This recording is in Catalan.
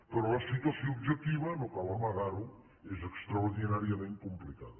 però la situació objectiva no cal amagar ho és extraordinàriament complicada